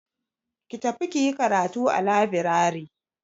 Ki tafi kiyi karatu a labirari.